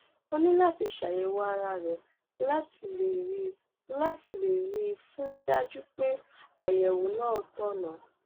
o ní láti ṣe àyẹwò ara rẹ láti lè rẹ láti lè rí i um dájú pé àyẹwò náà tọnà